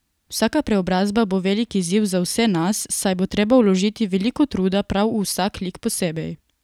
Vsaka preobrazba bo velik izziv za vse nas, saj bo treba vložiti veliko truda prav v vsak lik posebej.